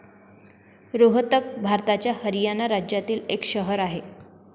रोहतक भारताच्या हरियाणा राज्यातील एक शहर आहे.